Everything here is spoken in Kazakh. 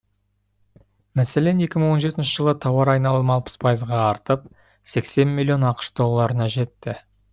мәселен екі мың он жетінші жылы тауар айналымы алпыс пайызға артып сексен миллион ақш долларына жетті